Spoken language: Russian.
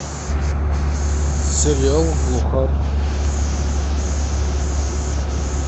сериал глухарь